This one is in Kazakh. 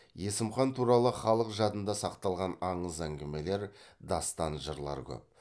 есім хан туралы халық жадында сақталған аңыз әңгімелер дастан жырлар көп